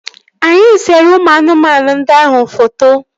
Anyị sere ụmụ anụmanụ ndị ahụ foto